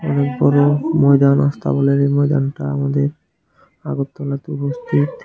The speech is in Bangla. এই ময়দানটা আমাদের আগরতলাতে উপস্থিত।